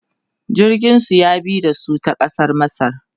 jirgin su ya bi da su ta kasar masar